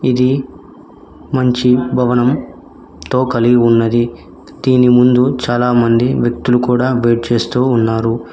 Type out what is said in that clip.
ఇది మంచి భవనం తో కలిగి ఉన్నది దీని ముందు చాలా మంది వ్యక్తులు కూడా వెయిట్ చేస్తూ ఉన్నారు